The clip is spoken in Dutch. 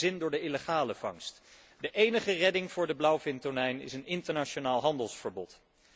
Zij hebben geen zin door de illegale vangst. De enige redding voor de blauwvintonijn is een internationaal handelsverbod.